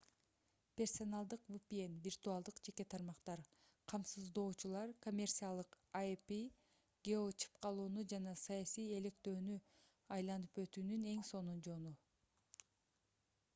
персоналдык vpn виртуалдык жеке тармактар камсыздоочулар — коммерциялык ip геочыпкалоону жана саясий электөөнү айланып өтүүнүн эң сонун жолу